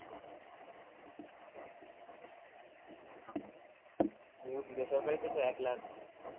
বেসরকারিতে তো এক লাখ